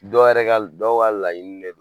Dɔw yɛrɛ ka dɔw ka layini de don.